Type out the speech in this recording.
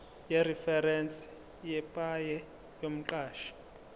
yereferense yepaye yomqashi